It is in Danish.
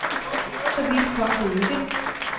Så vidt kom det ikke.